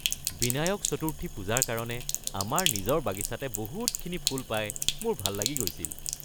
বিনায়ক চতুৰ্থী পূজাৰ কাৰণে আমাৰ নিজৰ বাগিচাতে বহুতখিনি ফুল পাই মোৰ ভাল লাগি গৈছিল।